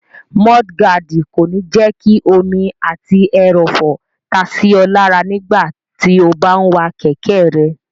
Múdúgáàdì kò ní jẹ́ kí omi àti ẹrọ̀fọ̀ ta sí ọ lára nígbàtí o bá n wa kẹ̀kẹ́ rẹ